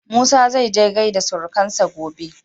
Musa zaije gaida surukansa gobe.